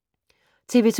TV 2